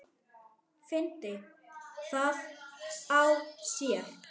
Fyndi það á sér.